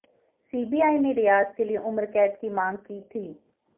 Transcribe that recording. CBI ने रियाज के लिए उम्रकैद की मांग की थी